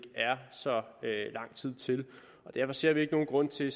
er så lang tid til derfor ser vi ikke nogen grund til